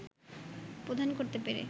প্রধান করতে পেরে